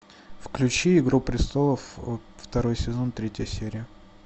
включи игру престолов второй сезон третья серия